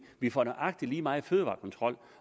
vi får nøjagtig lige meget fødevarekontrol